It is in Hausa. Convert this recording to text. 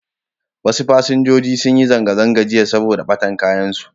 Wasu fasinjoji sun ji zanga-zanga jiya saboda ɓatan kayansu.